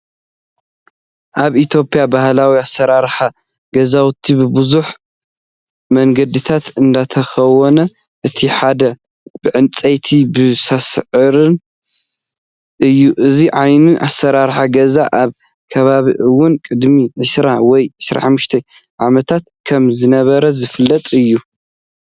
ኣብ ኢትዮጵያ ባህላው ኣሰራርሓ ገዛውቲ ብብዙሕ መንገድታት እንትኸውን እቲ ሓደ ብዕንፀይትን ብሳዕርን እዩ። እዚ ዓይነት ኣሰራርሓ ገዛ ኣብ ከባቢና እውን ቅድሚ 20 ወይ 25 ዓመታት ከም ዝነበረ ዝፍለጥ እዩ።